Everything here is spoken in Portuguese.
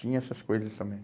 Tinha essas coisas também.